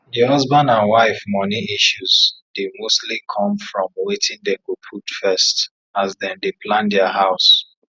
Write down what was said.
di husband and wife money issues dey mostly come from wetin dey go put first as dem dey plan dia house